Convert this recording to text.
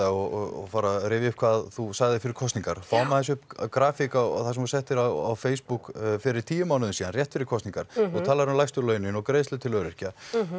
og fór að rifja upp hvað þú sagðir fyrir kosningar fáum aðeins upp grafík á það sem þú settir á Facebook fyrir tíu mánuðum síðan rétt fyrir kosningar þú talar um lægstu launin og greiðslur til öryrkja